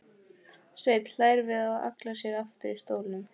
Svenni hlær við og hallar sér aftur í stólnum.